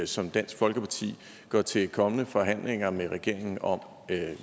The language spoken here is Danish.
som dansk folkeparti går til de kommende forhandlinger med regeringen om